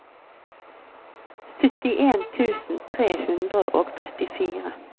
syttien tusen tre hundre og trettifire